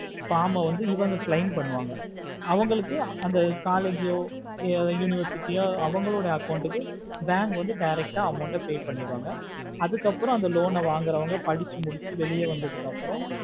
form ஆஹ்வந்து இவங்க அவங்க claim பண்ணுவாங்க அவங்களுக்கு அந்த collage ஓ இல்ல university ஓ அவங்களோடோ account க்கு bank வந்து direct ஆஹ் amount ஆஹ் pay பண்ணிர்ராங்க அதுக்கு அப்புறம் அந்த loan ஆஹ் வாங்குற வாங்க படிச்சி முடிச்சி வெளிய வந்ததுக்கு அப்பறம்